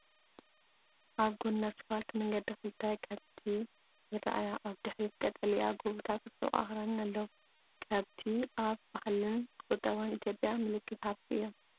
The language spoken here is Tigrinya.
ኣብ ጎኒ ኣስፋልት መንገዲ ክልተ ከብቲ ይረኣያ። ኣብ ድሕሪት ቀጠልያ ጎቦታትን ርሑቕ ኣኽራንን ኣለዉ። ከብቲ ኣብ ባህልን ቁጠባን ኢትዮጵያ ምልክት ሃብቲ እዮም።